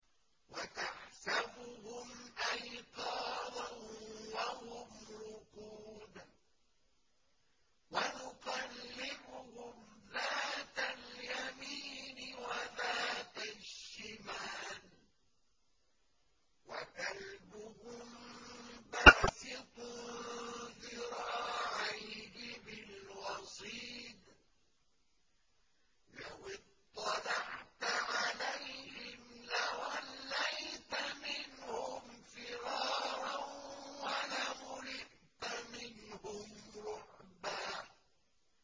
وَتَحْسَبُهُمْ أَيْقَاظًا وَهُمْ رُقُودٌ ۚ وَنُقَلِّبُهُمْ ذَاتَ الْيَمِينِ وَذَاتَ الشِّمَالِ ۖ وَكَلْبُهُم بَاسِطٌ ذِرَاعَيْهِ بِالْوَصِيدِ ۚ لَوِ اطَّلَعْتَ عَلَيْهِمْ لَوَلَّيْتَ مِنْهُمْ فِرَارًا وَلَمُلِئْتَ مِنْهُمْ رُعْبًا